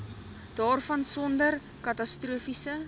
daarvan sonder katastrofiese